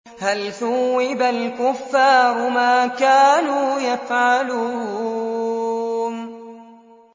هَلْ ثُوِّبَ الْكُفَّارُ مَا كَانُوا يَفْعَلُونَ